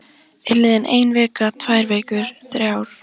Er liðin ein vika, tvær vikur, þrjár?